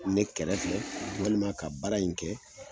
Ne kɛrɛfɛ walima ka baara in kɛ